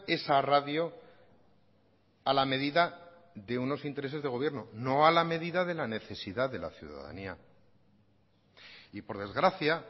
esa radio a la medida de unos intereses de gobierno no a la medida de la necesidad de la ciudadanía y por desgracia